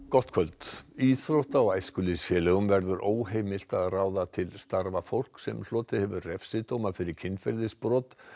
gott kvöld íþrótta og æskulýðsfélögum verður óheimilt að ráða til starfa fólk sem hlotið hefur refsidóma fyrir kynferðisbrot